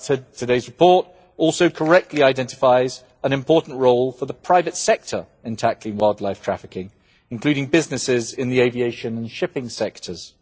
Today's report also correctly identifies an important role for the private sector in tackling wildlife trafficking, including businesses in the aviation and shipping sectors.